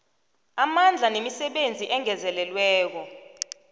amandla nemisebenzi engezelelweko